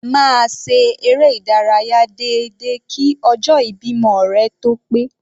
Máa ṣe eré ìdárayá déédéé kí ọjọ́ ìbímọ rẹ tó ó pé.